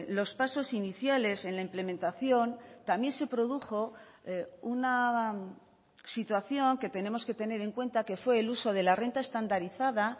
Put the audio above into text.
los pasos iniciales en la implementación también se produjo una situación que tenemos que tener en cuenta que fue el uso de la renta estandarizada